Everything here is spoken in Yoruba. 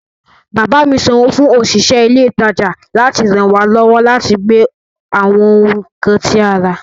Bàbá mi sanwó fún òṣìṣẹ́ ilé ìtajà láti ràn wá lọ́wọ́ láti gbé àwọn nǹkan tí a rà